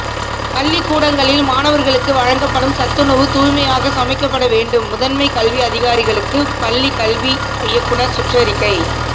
பள்ளிக்கூடங்களில் மாணவர்களுக்கு வழங்கப்படும் சத்துணவு தூய்மையாக சமைக்கப்பட வேண்டும் முதன்மை கல்வி அதிகாரிகளுக்கு பள்ளிக்கல்வி இயக்குனர் சுற்றறிக்கை